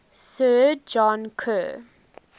sir john kerr